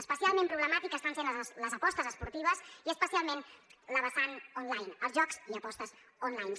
especialment problemàtiques estan sent les apostes esportives i especialment la vessant online els jocs i apostes online